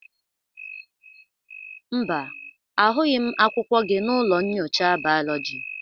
Mba, ahụghị m akwụkwọ gị n'ụlọ nyocha biology.